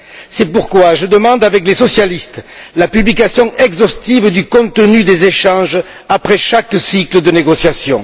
C'est pourquoi je demande, avec les socialistes, la publication exhaustive du contenu des échanges après chaque cycle de négociations.